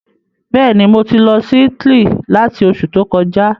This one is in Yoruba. Bẹ́ẹ̀ni, mo ti lọ sí Italy látí Oṣù to kọjá